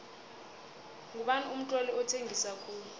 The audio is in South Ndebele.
ngubani umtloli othengisa khulu